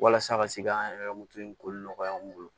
Walasa ka se k'an yɛrɛ ka moto in ko nɔgɔya an bolo